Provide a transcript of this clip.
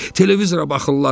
Televizora baxırlar.